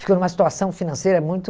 Ficou numa situação financeira muito...